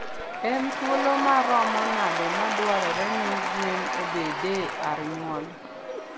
En thuolo maromo nade madwarore ni gwen ebede ar nyuol?